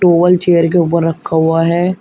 Towel chair के ऊपर रखा हुआ है।